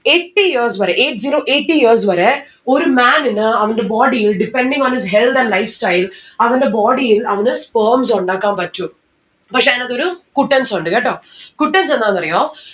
eighty years വരെ eight zero eighty വരെ ഒരു man ഇന് അവന്റെ body ൽ depending on his health and lifestyle അവന്റെ body ൽ അവന് sperms ഉണ്ടാക്കാൻ പറ്റും. പക്ഷെ അയിനാത്തൊരു ഗുട്ടൻസുണ്ട് കേട്ടോ? ഗുട്ടൻസ് എന്താണെന്ന് അറിയോ